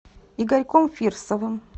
игорьком фирсовым